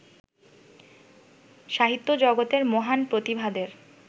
সাহিত্যজগতের মহান প্রতিভাদের